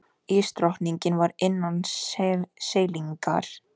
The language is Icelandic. Ísdrottningin var innan seilingar.